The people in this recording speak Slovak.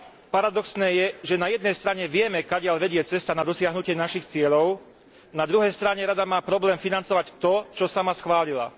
Paradoxné je, že na jednej strane vieme, kadiaľ vedie cesta na dosiahnutie našich cieľov, na druhej strane Rada má problém financovať to, čo sama schválila.